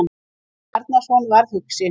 Jón Bjarnason varð hugsi.